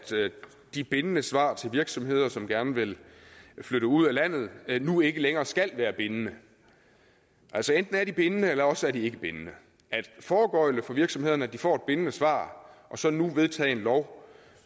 de bindende svar til virksomheder som gerne vil flytte ud af landet nu ikke længere skal være bindende altså enten er de bindende eller også er de ikke bindende at foregøgle virksomhederne at de får et bindende svar og så nu vedtage en lov